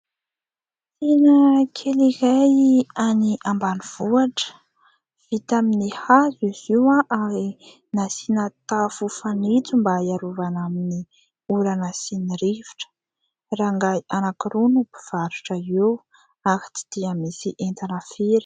Tsena kely iray any ambanivohitra, vita amin'ny hazo izy io ary nasiana tafo fanitso mba hiarovana amin'ny orana sy ny rivotra. Rangahy anankiroa no mpivarotra eo ary tsy dia misy entana firy.